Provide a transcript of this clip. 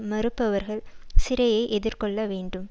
மறுப்பவர்கள் சிறையை எதிர்கொள்ள வேண்டும்